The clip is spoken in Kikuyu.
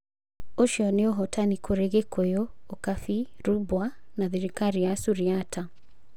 Ũcio nĩ ũhotani kũrĩ Gikuyu, Ukabi, Rubwa na thirikari ya Suriata.